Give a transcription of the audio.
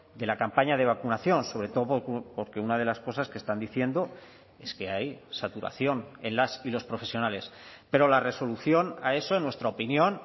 de la campaña de vacunación sobre todo porque una de las cosas que están diciendo es que hay saturación en las y los profesionales pero la resolución a eso en nuestra opinión